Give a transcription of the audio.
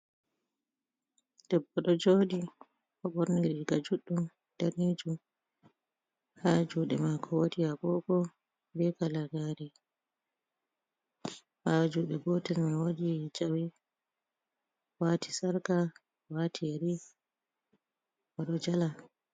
Debbo ɗo joɗi oɗo ɓorni riga juɗɗum danejum ha juɗe mako wodi agogo be kala gare, ha juɗe gotal me wodii jawe, wati sarka, wati yari oɗo jala.